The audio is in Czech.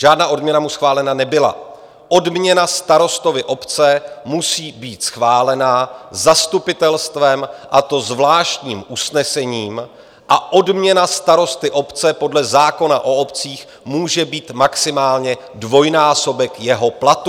Žádná odměna mu schválena nebyla, odměna starostovi obce musí být schválena zastupitelstvem, a to zvláštním usnesením, a odměna starosty obce podle zákona o obcích může být maximálně dvojnásobek jeho platu.